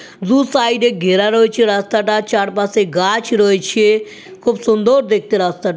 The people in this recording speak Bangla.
দু সাইড -এ ঘেরা রয়েছে রাস্তাটা চারপাশে গাছ রয়েছে খুব সুন্দর দেখতে রাস্তা--